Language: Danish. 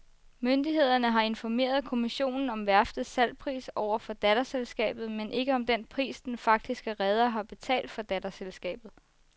Myndighederne har informeret kommissionen om værftets salgspris over for datterselskabet, men ikke om den pris, den faktiske reder har betalt datterselskabet.